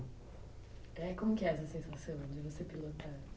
É, como que é essa sensação de você pilotar?